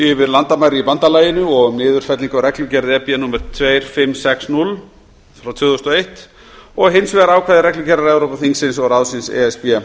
yfir landamæri í bandalaginu og um niðurfellingu á reglugerð númer tvö þúsund fimm hundruð og sextíu tvö þúsund og eitt og hins vegar ákvæði reglugerðar evrópuþingsins og ráðsins númer tvö